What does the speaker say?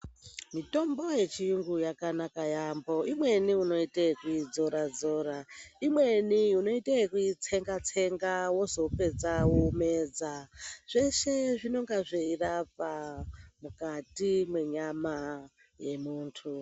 Mitombo yechiyungu yakanaka yaambo, imweni unoite yeikudzora- dzora, imweni unoite yekuitsenga-tsenga wozopedza womedza. Zveshe zvinonga zveirapa mukati mwenyama yemuntu.